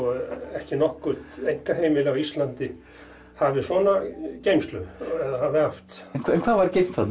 ekki nokkurt einkaheimili á Íslandi hafi svona geymslu eða hafi haft en hvað var geymt þarna